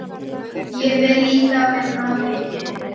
Ég vil líka vinna leiki.